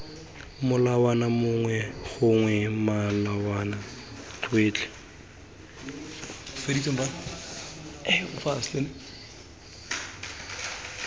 molawana mongwe gongwe melawana yotlhe